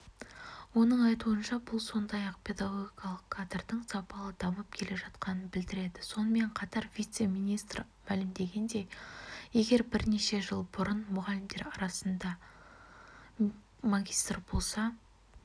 оның айтуынша бұл сондай-ақ педагогикалық кадрдың сапалы дамып жатқанын білдіреді сонымен қатар вице-министр мәлімдегендей егер бірнеше жыл бұрын мұғалімдер арасында магистр болса